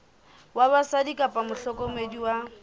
wa batswadi kapa mohlokomedi wa